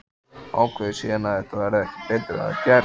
Ákveður síðan að ekki verði betur að gert.